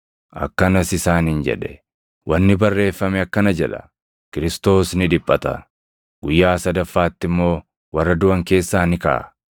Akkanas isaaniin jedhe; “Wanni barreeffame akkana jedha; ‘Kiristoos ni dhiphata; guyyaa sadaffaatti immoo warra duʼan keessaa ni kaʼa;